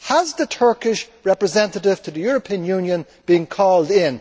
Has the Turkish representative to the European Union been called in?